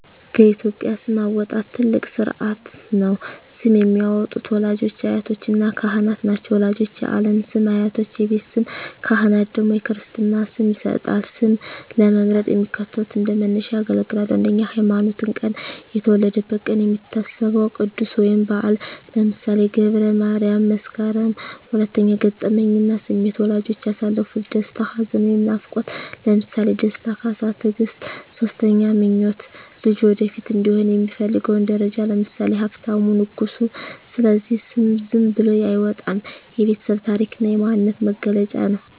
በኢትዮጵያ ስም አወጣጥ ትልቅ ሥርዓት ነው። ስም የሚያወጡት ወላጆች፣ አያቶችና ካህናት ናቸው። ወላጆች የዓለም ስም፣ አያቶች የቤት ስም፣ ካህናት ደግሞ የክርስትና ስም ይሰጣሉ። ስም ለመምረጥ የሚከተሉት እንደ መነሻ ያገለግላሉ 1)ሃይማኖትና ቀን የተወለደበት ቀን የሚታሰበው ቅዱስ ወይም በዓል (ለምሳሌ ገብረ ማርያም፣ መስከረም)። 2)ገጠመኝና ስሜት ወላጆች ያሳለፉት ደስታ፣ ሐዘን ወይም ናፍቆት (ለምሳሌ ደስታ፣ ካሳ፣ ትግስት)። 3)ምኞት ልጁ ወደፊት እንዲሆን የሚፈለገው ደረጃ (ለምሳሌ ሀብታሙ፣ ንጉሱ)። ስለዚህ ስም ዝም ብሎ አይወጣም፤ የቤተሰብ ታሪክና የማንነት መገለጫ ነው።